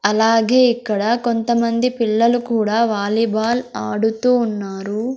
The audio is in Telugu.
అలాగే ఇక్కడ కొంతమంది పిల్లలు కూడా వాలీబాల్ ఆడుతూ ఉన్నారు.